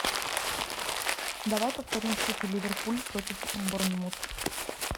давай повторим встречу ливерпуль против борнмут